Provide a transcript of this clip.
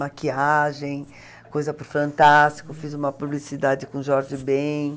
Maquiagem, coisa para o Fantástico, fiz uma publicidade com Jorge Ben.